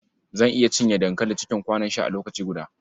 Zan iya cinye dankali cikin kwanon sha a lokaci guda.